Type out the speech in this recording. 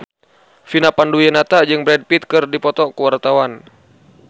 Vina Panduwinata jeung Brad Pitt keur dipoto ku wartawan